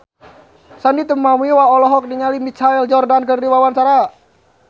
Sandy Tumiwa olohok ningali Michael Jordan keur diwawancara